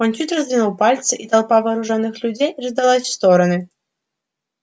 он чуть раздвинул пальцы и толпа вооружённых людей раздалась в стороны